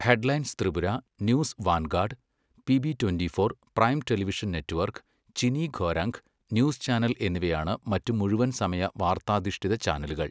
Headlines Tripura, news vanguard, PB twenty four, prime television network, Chini Khorang, news channel എന്നിവയാണ് മറ്റ് മുഴുവൻ സമയ വാർത്താധിഷ്ഠിത ചാനലുകൾ.